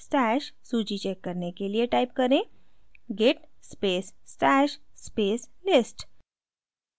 stash सूची check करने के लिए type करें: git space stash space list